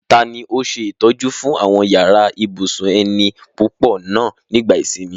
Tani ó ṣe ìtọ́jú fún àwọn yàrá ibùsùn ẹni púpọ̀ náà nígbà ìsinmi?